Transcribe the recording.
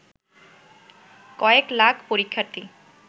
কয়েক লাখ পরীক্ষার্থী